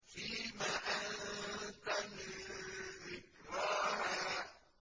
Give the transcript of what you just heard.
فِيمَ أَنتَ مِن ذِكْرَاهَا